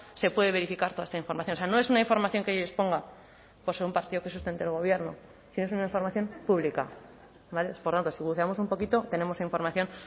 se puede verificar toda esta información o sea no es una información que yo exponga por ser un partido que sustente al gobierno sino es una información pública por tanto si buceamos un poquito tenemos información